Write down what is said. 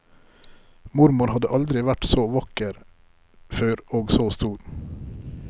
Mormor hadde aldri vært så vakker før og så stor.